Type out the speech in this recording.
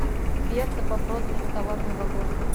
берта по прозвищу товарный вагон